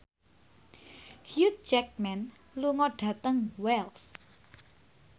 Hugh Jackman lunga dhateng Wells